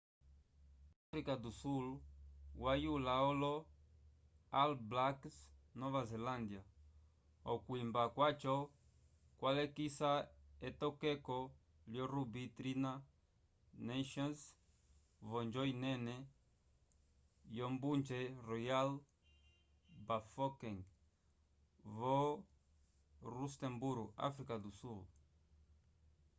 áfrica do sul yayula olo all blacks nova zelândia okwimba kwaco kwalekisa etokeko lyo ruby tri nations v’onjo inene yombunje royal bafokeng vo rustemburo áfrica do sul